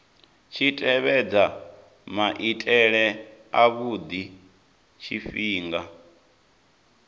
tshi tevhedza maitele avhudi tshifhinga